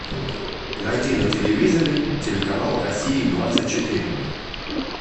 найди на телевизоре телеканал россия двадцать четыре